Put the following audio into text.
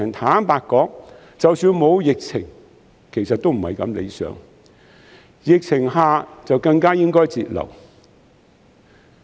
坦白說，即使沒有疫情，這情況亦不太理想，在疫情之下，政府更應該節流。